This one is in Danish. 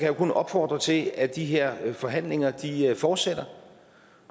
jo kun opfordre til at de her forhandlinger fortsætter